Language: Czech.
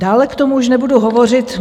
Dále k tomu už nebudu hovořit.